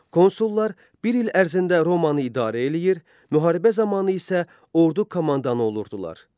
Konsullar bir il ərzində Romanı idarə eləyir, müharibə zamanı isə ordu komandanı olurdular.